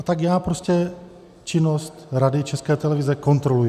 A tak já prostě činnost Rady České televize kontroluji.